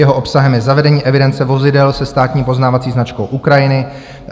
Jeho obsahem je zavedení evidence vozidel se státní poznávací značkou Ukrajiny.